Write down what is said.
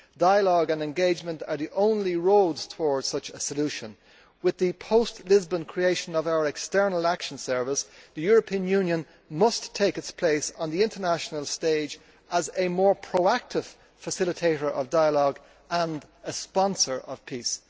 Dialogue and engagement are the only roads toward such a solution. With the post Lisbon creation of our External Action Service, the European Union must take its place on the international stage as a more proactive facilitator of dialogue and a sponsor of peace.